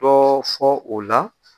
Dɔɔ fɔ o la.